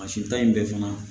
Mansinta in bɛɛ fana